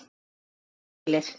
Við eigum það öll skilið!